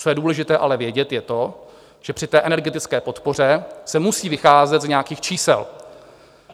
Co je důležité ale vědět, je to, že při té energetické podpoře se musí vycházet z nějakých čísel.